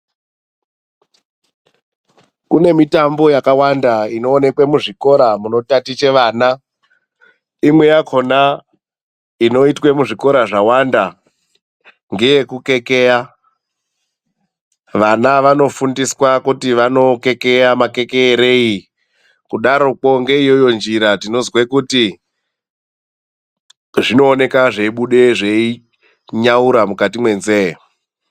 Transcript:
Kune mitambo yakawanda inoonekwa muzvikora muno taticha vana. Imwe yakona inoitwa muzvikora zvawanda ngeyekukekeya. Vana vanofundiswa kuti vanokekeya makekerei kudaroko ngeiyoyo njira tinozwe kuti zvinooneka zveibuda zveinyaura mukati menzeve.